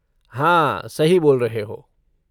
हाँ, सही बोल रहे हो।